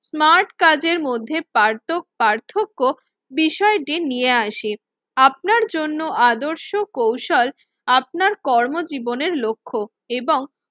Smart কাজের মধ্যে পার্তক পার্থক্য বিষয়টি নিয়ে আসে। আপনার জন্য আদর্শ কৌশল আপনার কর্মজীবনের লক্ষ্য এবং